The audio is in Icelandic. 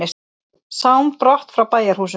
Sám brott frá bæjarhúsum.